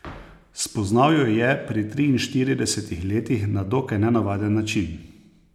Spoznal jo je pri triinštiridesetih letih na dokaj nenavaden način.